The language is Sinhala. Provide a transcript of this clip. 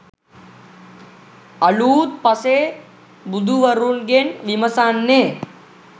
අලූත් පසේ බුදුවරුන්ගෙන් විමසන්නේ.